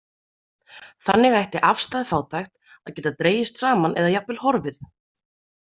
Þannig ætti afstæð fátækt að geta dregist saman eða jafnvel horfið.